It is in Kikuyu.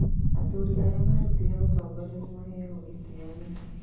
Athuri arĩa marutĩte ũtongoria nĩ maaheagwo gĩtĩo mũno.